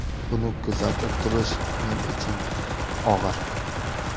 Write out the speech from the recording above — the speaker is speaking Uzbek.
Buni kuzatib turish men uchun og‘ir.